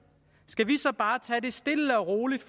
skal vi så bare tage det stille og roligt